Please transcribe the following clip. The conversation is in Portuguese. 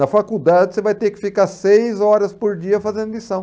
Na faculdade, você vai ter que ficar seis horas por dia fazendo lição.